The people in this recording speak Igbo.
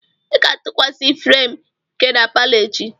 Ị ga-atụkwasị frem nka na palo echi.